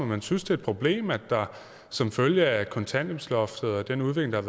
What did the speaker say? man synes det et problem at vi som følge af kontanthjælpsloftet og den udvikling